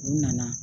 U nana